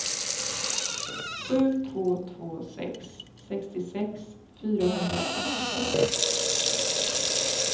sju två två sex sextiosex fyrahundrafemtiosju